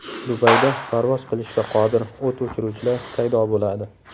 Dubayda parvoz qilishga qodir o‘t o‘chiruvchilar paydo bo‘ladi.